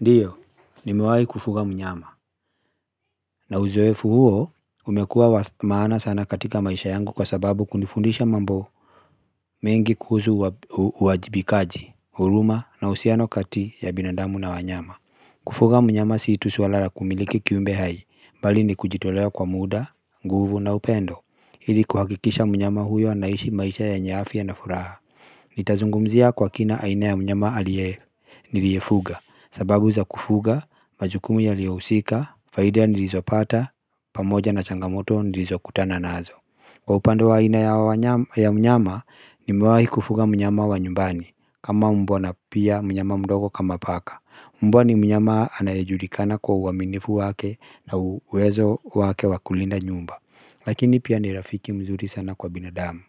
Ndiyo ni mewai kufuga mnyama na uzoefu huwo umekuwa wa maana sana katika maisha yangu kwa sababu kunifundisha mambo mengi kuhusu uwajibikaji huruma na uhusiano kati ya binadamu na wanyama kufuga mnyama si tu swala la kumiliki kiumbe hai bali ni kujitolea kwa muda nguvu na upendo ili kuhakikisha mnyama huyo anaishi maisha yenye afya na furaha nitazungumzia kwa kina aina ya mnyama aliye, niliyefuga sababu za kufuga majukumu yaliyohusika faida nilizopata pamoja na changamoto nilizokutana nazo. Kwa upande wa aina ya mnyama ni mewahi kufuga mnyama wa nyumbani kama mbwa na pia mnyama mdogo kama paka mbwa ni mnyama anayejulikana kwa uwaminifu wake na uwezo wake wakulinda nyumba lakini pia nirafiki mzuri sana kwa binadamu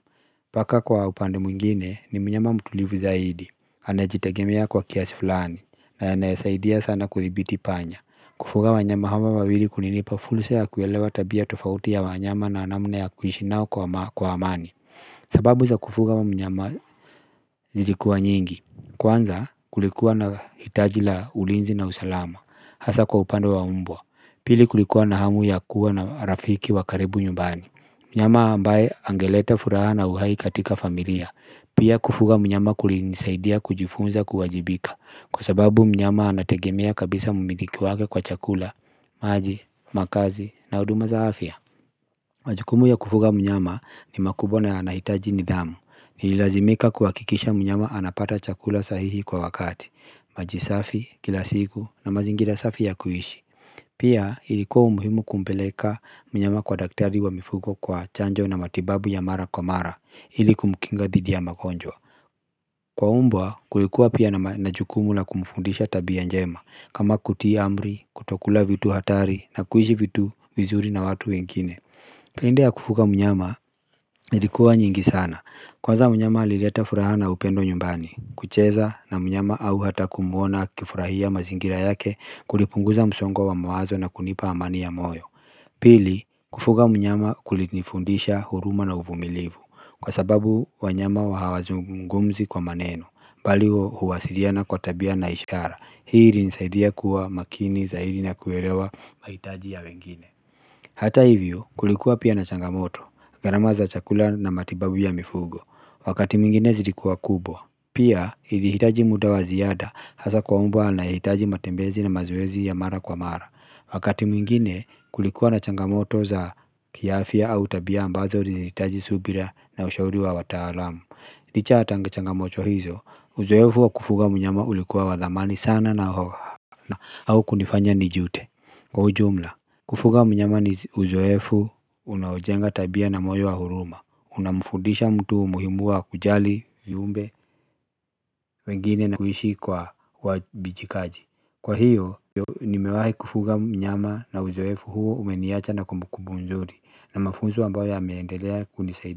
paka kwa upande mwingine ni mnyama mtulivu zaidi anajitegemea kwa kiasi fulani na anayesaidia sana kuthibiti panya. Kufuga wanyama hawa wawili kulinipa fursa ya kuelewa tabia tofauti ya wanyama na namna ya kuishi nao kwa amani. Sababu za kufuga mnyama ilikuwa nyingi, kwanza kulikuwa na hitaji la ulinzi na usalama hasa kwa upande wa mbwa. Pili kulikuwa na hamu ya kuwa na rafiki wakaribu nyumbani. Mnyama ambaye angeleta furaha na uhai katika familiya pia kufuga mnyama kulinisaidia kujifunza kuwajibika. Kwa sababu mnyama anategemea kabisa mumiliki wake kwa chakula maji, makazi na huduma za afya. Majukumu ya kufuga mnyama ni makubwa na yanahitaji nidhamu. Nililazimika kuwakikisha mnyama anapata chakula sahihi kwa wakati. Maji safi, kila siku na mazingira safi ya kuishi. Pia ilikuwa umuhimu kumpeleka mnyama kwa daktari wa mifugo kwa chanjo na matibabu ya mara kwa mara. Hili kumkinga dhidi ya magonjwa. Kwa umbwa kulikuwa pia na najukumu la kumfundisha tabia njema. Kama kutii amri, kutokula vitu hatari na kuishi vitu, vizuri na watu wengine. Pende ya kufuga mnyama ilikuwa nyingi sana. Kwaza mnyama alileta furaha na upendo nyumbani. Kucheza na mnyama au hata kumuona akifurahia mazingira yake. Kulipunguza msongo wa mawazo na kunipa amani ya moyo. Pili kufuga mnyama kulinifundisha huruma na uvumilivu. Kwa sababu wanyama wa hawazungumzi kwa maneno bali huwasiliana kwa tabia na ishara. Hii ili nisaidia kuwa makini zaidi na kuelewa mahitaji ya wengine. Hata hivyo kulikuwa pia na changamoto garama za chakula na matibabu ya mifugo wakati mwingine zilikuwa kubwa. Pia ilihitaji muda wa ziada hasa kwa umbwa anayehitaji matembezi na mazoezi ya mara kwa mara wakati mwingine kulikuwa na changamoto za kiafya au tabia ambazo zilihitaji subira na ushauri wa wataalamu. Licha ya changamoto hizo uzoefu wa kufuga mnyama ulikuwa wadhamani sana na, nahaukunifanya nijute. Kwa ujumla kufuga mnyama ni uzoefu. Unaojenga tabia na moyo wa huruma. Unamfundisha mtu umuhimua kujali viumbe wengine na kuhishi kwa wabijikaji. Kwa hiyo. Nimewahi kufuga mnyama na uzoefu huo umeniacha na kumbukumbu mzuri na mafunzo ambao yameendelea kunisaidi.